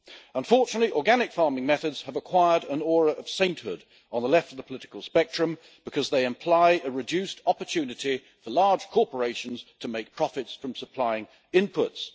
Unfortunately, organic farming methods have acquired an aura of sainthood on the left of the political spectrum, because they imply a reduced opportunity for large corporations to make profits from supplying inputs.